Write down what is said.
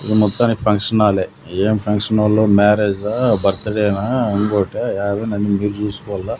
ఇది మొత్తానికి ఫంక్షన్ హాల్లే ఏం ఫంక్షన్ హాల్ లో మ్యారేజ్ ఆహ్ బర్త్డే నా ఇంకోట ఏదో అన్ని మీరే చూసుకోవాలా.